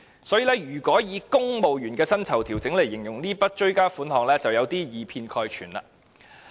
所以，以"公務員薪酬調整"來形容這筆追加撥款，便有點以偏概全。